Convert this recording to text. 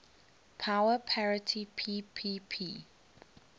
power parity ppp